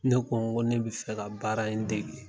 Ne kɔ n ko ne bi fɛ ka baara in degi.